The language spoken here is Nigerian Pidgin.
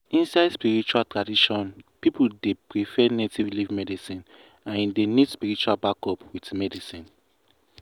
inside spiritual tradition people dey prefer native leaf medicine and e dey need spiritual backup with medicine.